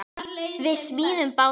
Við smíðum báta.